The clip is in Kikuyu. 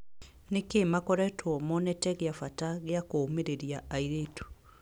Nĩkĩĩ makoretwo monete gĩabata gĩa kũũmĩrĩria airĩtu ?